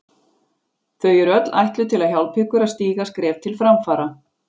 Þau eru öll ætluð til að hjálpa ykkur að stíga skref til framfara.